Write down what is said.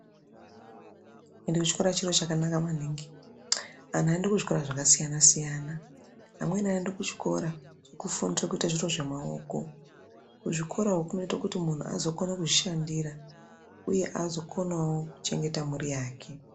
Ende kuchikora chiro chakanaka maningi antu anoende kuzvikora zvakasiyana siyana amweni anoende kuchikora chekufundire kuite zviro zvemaoko kuzvikora uku kunoite kuti muntu azokone kuzvishandira uye azokonawo kuchengeta mhuri yake.